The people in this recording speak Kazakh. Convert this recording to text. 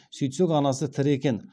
сөйтсек анасы тірі екен